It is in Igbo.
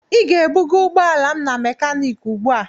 Ị ga-ebuga ụgbọala m na mekaniiki ugbu a!